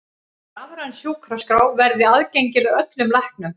Rafræn sjúkraskrá verði aðgengileg öllum læknum